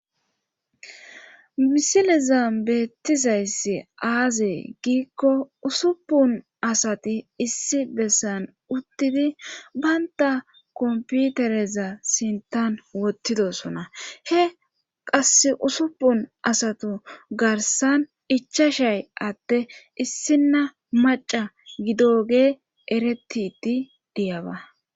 misilezam beettizayssi aaze giikko usuppun asati issi bessan uttidi baynta komputereza sintan wottidosona he qass usupun asatu garsan ichashay atte issinna maca gidogee eretiti diyaba